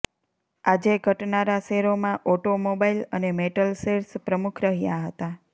આજે ઘટનારા શેરોમાં ઓટોમોબાઈલ અને મેટલ શેર્સ પ્રમુખ રહ્યા હતા